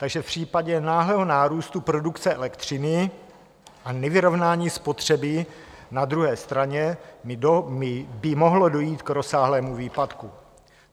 Takže v případě náhlého nárůstu produkce elektřiny a nevyrovnání spotřeby na druhé straně by mohlo dojít k rozsáhlému výpadku.